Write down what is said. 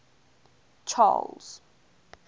charles